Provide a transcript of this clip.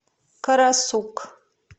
карасук